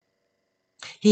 DR1